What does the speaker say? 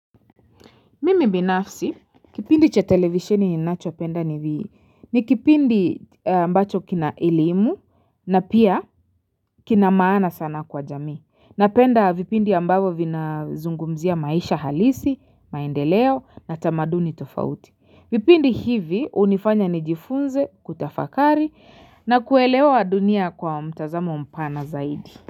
Mimi binafsi, kipindi cha televisieni ninachopenda hivi, ni kipindi ambacho kina elimu, na pia kina maana sana kwa jamii, napenda vipindi ambavyo vinazungumzia maisha halisi, maendeleo, na tamaduni tofauti, vipindi hivi hunifanya nijifunze, kutafakari, na kuelewa dunia kwa mtazamo mpana zaidi.